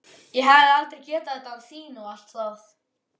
Ég hefði aldrei getað þetta án þín og allt það.